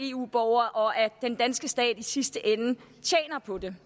eu borgere og at den danske stat i sidste ende tjener på det